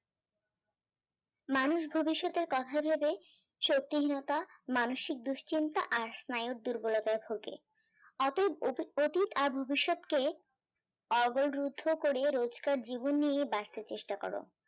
মানুষ ভবিষ্যতের কথা ভেবে সতীর্ণতা মানসিক দুশ্চিন্তা আর স্নায়ুর দুর্বলতার ভোগে রুদ্ধ করে রোজকার জীবন নিয়ে বাঁচতে চেষ্টা করো